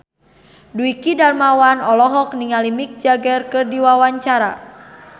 Dwiki Darmawan olohok ningali Mick Jagger keur diwawancara